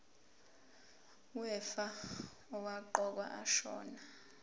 wefa owaqokwa ashona